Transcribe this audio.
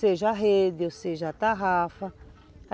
Seja a rede ou seja a tarrafa.